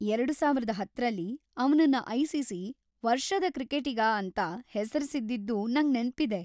ಎರಡು ಸಾವಿರದ ಹತ್ತರಲ್ಲಿ ಅವ್ನನ್ನ ಐ.ಸಿ.ಸಿ. 'ವರ್ಷದ ಕ್ರಿಕೆಟಿಗ' ಎಂತ ಹೆಸ್ರಿಸಿದ್ದಿದ್ದೂ ನಂಗ್ ನೆನ್ಪಿದೆ.